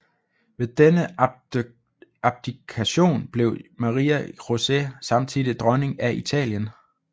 Ved denne abdikation blev Maria José samtidig dronning af Italien